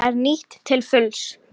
Það er nýtt til fulls.